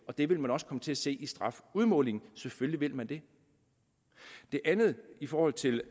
og det vil man også komme til at se i strafudmålingen selvfølgelig vil man det i forhold til